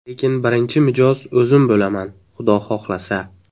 Lekin birinchi mijoz o‘zim bo‘laman, xudo xohlasa.